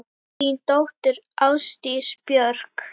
Þín dóttir, Ásdís Björk.